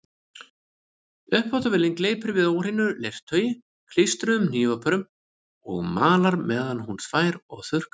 Uppþvottavélin gleypir við óhreinu leirtaui og klístruðum hnífapörum og malar meðan hún þvær og þurrkar.